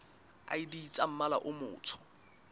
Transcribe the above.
id tsa mmala o motsho